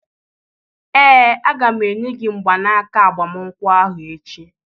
ee, a ga m enye gị mgbanaka agbamakwụkwọ ahụ echi